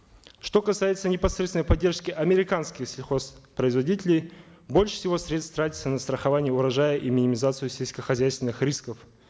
что касается непосредственной поддержки американских сельхозпроизводителей больше всего средств тратится на страхование урожая и минимизацию сельскохозяйственных рисков